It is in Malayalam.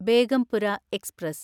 ബേഗംപുര എക്സ്പ്രസ്